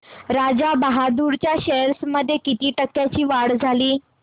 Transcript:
राजा बहादूर च्या शेअर्स मध्ये किती टक्क्यांची वाढ झाली